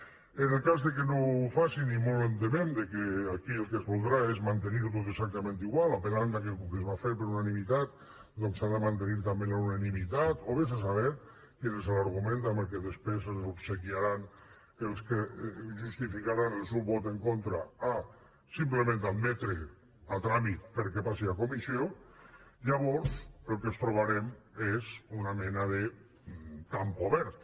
en el cas que no ho facin i molt ens temem que aquí el que es voldrà és mantenir ho tot exactament igual apel·lant que com que es va fer per unanimitat doncs s’ha de mantenir també la unanimitat o vés a saber quin és l’argument amb què després ens obsequiaran els que justificaran el seu vot en contra a simplement admetre a tràmit perquè passi a comissió llavors el que ens trobarem és una mena de camp obert